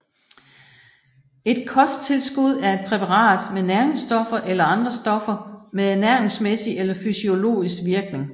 Et kosttilskud er et præparat med næringsstoffer eller andre stoffer med ernæringsmæssig eller fysiologisk virkning